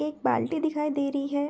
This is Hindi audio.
एक बाल्टी दिखाई दे रही है।